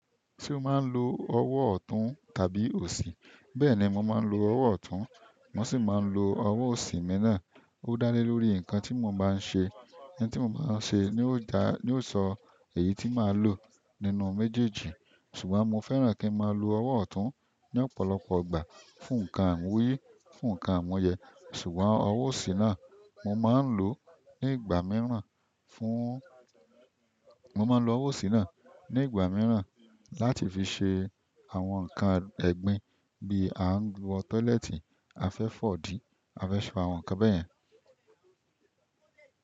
Ṣé o máa ń lo ọwọ́ ọ̀tún tàbí òsì? Bẹ́ẹ̀ni mo ma n lo owo ọ̀tún, mo si maa n lo owo osi mii náà. Ó dá lé lórí nǹkan tí mo bá ń ṣe. Nǹkan tí mo bá ń ṣe ni ó dá, ni yóò sọ èyí tí màá lò nínú méjèèjì. Ṣùgbọ́n mo fẹ́ràn kí n máa lo ọwọ́ ọ̀tún ní ọ̀pọ̀lọpọ̀ ìgbà fún nǹkan ìwúrí, fún nǹkan amunyẹ. Ṣùgbọ́n ọwọ́ òsì náà mo máa ń lò ó ní ìgbà mìíràn fún, mo máa ń lo ọwọ́ òsì náà ní ìgbà mìíràn láti fi ṣe àwọn nǹkan ẹ̀gbin bí a ń wọ tọ́lẹ́ẹ́tì, a fẹ́ fọ̀ dí, a fẹ́ ṣe àwọn nǹkan bẹ́ẹ̀ yẹn.